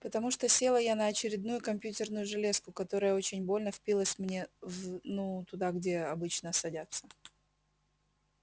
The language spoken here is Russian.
потому что села я на очередную компьютерную железку которая очень больно впилась мне вв ну туда чем обычно садятся